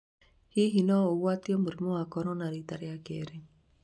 Hihi no ũgwatio mũrimũ wa Korona rĩta rĩa keerĩ?